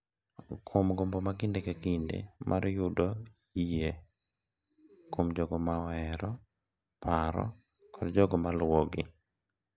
Kuom gombo ma kinde ka kinde mar yudo yie kuom jogo ma ohero, paro, kod jogo ma luwogi.